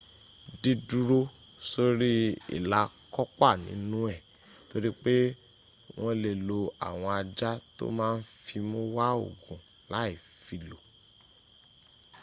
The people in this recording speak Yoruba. diduro sori ila kopa ninu e toripe won le lo awon aja to ma n fimu wa ogun lai filo